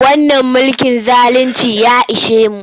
Wannan mulkin zaluncin ya ishe mu.